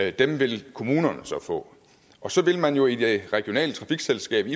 i dag vil kommunerne så få og så vil man jo i det regionale trafikselskabs